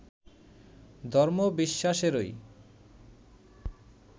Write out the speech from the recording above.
ধর্ম-বিশ্বাসেরই